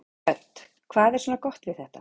Hödd: Hvað er svona gott við þetta?